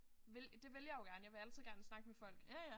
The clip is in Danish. Vil det vil jeg jo gerne jeg vil jo altid gerne snakke med folk